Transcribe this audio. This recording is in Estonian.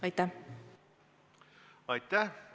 Aitäh!